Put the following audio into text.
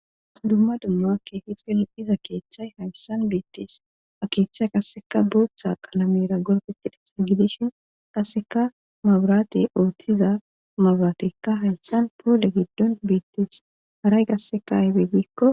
dumma dumma keefiley diza keeththay hayssan beettees a keeththay qasseka bootha qalamera gorfetidhasa gidishin qasseka maburaate ooththiza maburatekka hayssan poole giddon beettees haray gasseka ahibeeggikko